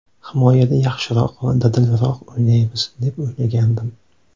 Himoyada yaxshiroq va dadilroq o‘ynaymiz deb o‘ylagandim.